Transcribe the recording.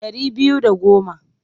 Ɗari biyu da goma.